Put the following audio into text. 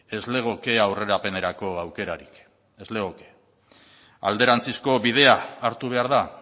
ez legoke aurrerapenerako aukerarik ez legoke alderantzizko bidea hartu behar da